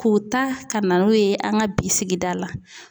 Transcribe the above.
K'u ta ka na n'o ye an ka bi sigida la